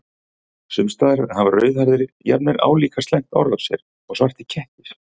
Sums staðar hafa rauðhærðir jafnvel álíka slæmt orð á sér og svartir kettir.